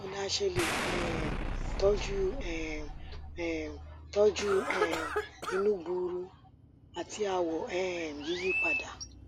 báwo ni a se le um toju um um toju um inu gbuuru ati awo um yiyipadà